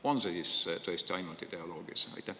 On see siis tõesti ainult ideoloogias?